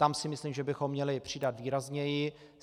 Tam si myslím, že bychom měli přidat výrazněji.